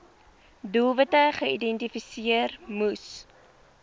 doelwitte geïdentifiseer moes